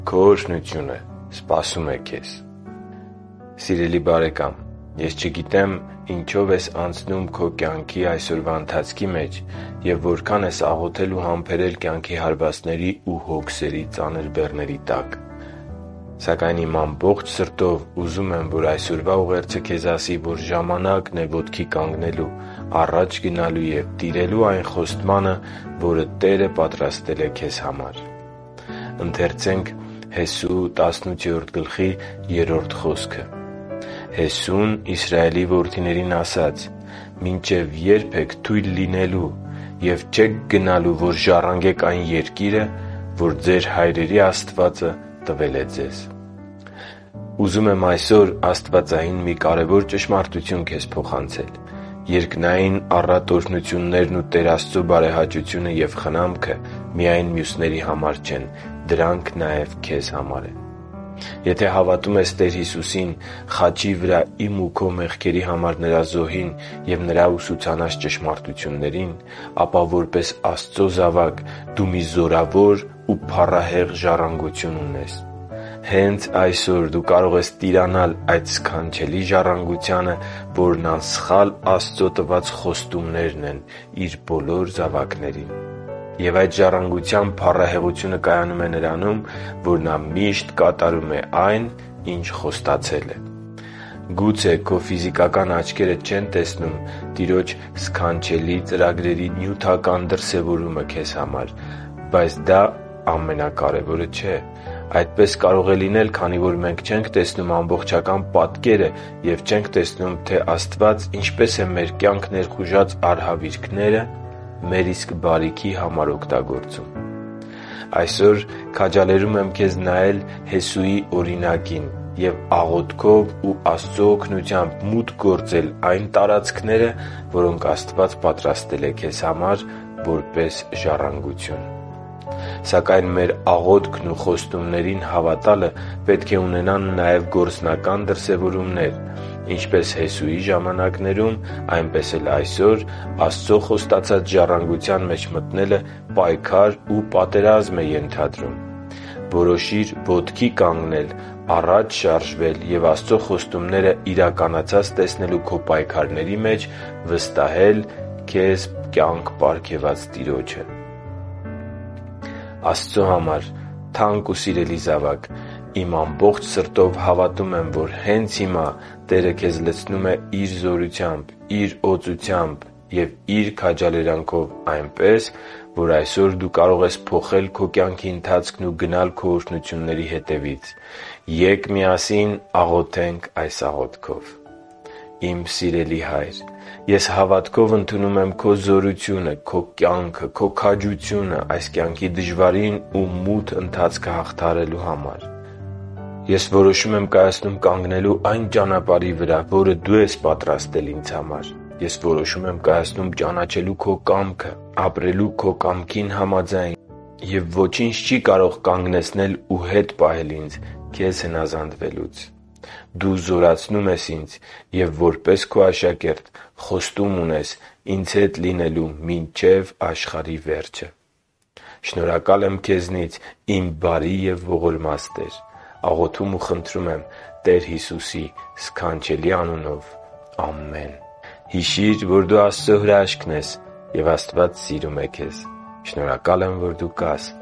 Քո օրհնությունը սպասում է քեզ Սիրելի՛ բարեկամ, ես չգիտեմ՝ ինչով ես անցնում քո կյանքի այսօրվա ընթացքի մեջ և որքան ես աղոթել ու համբերել կյանքի հարվածների ու հոգսերի ծանր բեռների տակ, սակայն իմ ամբողջ սրտով ուզում եմ, որ այսօրվա ուղերձը քեզ ասի, որ ժամանա՛կն է ոտքի կանգնելու, առաջ գնալու և տիրելու այն խոստմանը, որ Տերը պատրաստել է քեզ համար։ «Հեսուն Իսրայելի որդիներին ասաց. «Մինչև ե՞րբ եք թույլ լինելու և չեք գնալու, որ ժառանգեք այն երկիրը, որ ձեր հայրերի Տեր Աստվածը տվել է ձեզ» (Հեսու 18․3): Ուզում եմ այսօր աստվածային մի կարևոր ճշմարտություն քեզ փոխանցել․ երկնային առատ օրհնություններն ու Տեր Աստծո բարեհաճությունը և խնամքը միայն մյուսների համար չեն։ Դրանք նաև քեզ համար են։ Եթե հավատում ես Տեր Հիսուսին, խաչի վրա իմ ու քո մեղքերի համար Նրա զոհին և Նրա ուսուցանած ճշմարտություններին, ապա որպես Աստծո զավակ դու մի զորավոր ու փառահեղ ժառանգություն ունես։ Հե՛նց այսօր դու կարող ես տիրանալ այդ սքանչելի ժառանգությանը, որը անսխալ Աստծո տված խոստումներն են Իր բոլոր զավակներին։ Եվ այդ ժառանգության փառահեղությունը կայանում է նրանում, որ Նա միշտ կատարում է այն, ինչ խոստացել է։ Գուցե քո ֆիզիկական աչքերը չեն տեսնում Տիրոջ սքանչելի ծրագրերի նյութական դրսևորումը քեզ համար, բայց դա ամենակարևորը չէ։ Այդպես կարող է լինել, քանի որ մենք չենք տեսնում ամբողջական պատկերը և չենք տեսնում, թե Աստված, ինչպես է մեր կյանք ներխուժած արհավիրքները մեր իսկ բարիքի համար օգտագործում։ Այսօր քաջալերում եմ քեզ նայել Հեսուի օրինակին և աղոթքով ու Աստծո օգնությամբ մուտք գործել այն տարածքները, որոնք Աստված պատրաստել է քեզ համար՝ որպես ժառանգություն։ Սակայն մեր աղոթքն ու խոստումներին հավատալը պետք է ունենան նաև գործնական դրսևորումներ։ Ինչպես Հեսուի ժամանակներում, այնպես էլ այսօր՝ Աստծո խոստացած ժառանգության մեջ մտնելը պայքար ու պատերազմ է ենթադրում։ Որոշի՛ր ոտքի կանգնել, առաջ շարժվել և Աստծո խոստումները իրականացած տեսնելու քո պայքարների մեջ վստահել քեզ կյանք պարգևած Տիրոջը։ Աստծո համար թանկ ու սիրելի զավա՛կ, իմ ամբողջ սրտով հավատում եմ, որ հե՛նց հիմա Տերը քեզ լցնում է Իր զորությամբ, Իր օծությամբ և Իր քաջալերանքով այնպես, որ այսօր դու կարող ես փոխել քո կյանքի ընթացքն ու գնալ քո օրհնությունների հետևից։ Ե՛կ միասին աղոթենք այս աղոթքով. «Իմ սիրելի Հա՛յր, ես հավատքով ընդունում եմ Քո զորությունը, Քո կյանքը և Քո քաջությունը այս կյանքի դժվարին ու մութ ընթացքը հաղթահարելու համար։ Ես որոշում եմ կայացնում կանգնելու այն ճանապարհի վրա, որը Դու ես պատրաստել ինձ համար։ Ես որոշում եմ կայացնում ճանաչելու Քո կամքը, ապրելու Քո կամքին համաձայն, և ոչինչ չի կարող կանգնեցնել ու հետ պահել ինձ Քեզ հնազանդվելուց։ Դու զորացնում ես ինձ և որպես Քո աշակերտ խոստում ունես ինձ հետ լինելու մինչև աշխարհի վերջը։ Շնորհակալ եմ Քեզնից իմ բարի և ողորմած Տեր։ Աղոթում ու խնդրում եմ Տեր Հիսուսի սքանչելի անունով։ Ամե՛ն»։ Հիշի՛ր, որ դու Աստծո հրաշքն ես, և Աստված սիրում է քեզ։ Շնորհակալ եմ, որ դու կա՛ս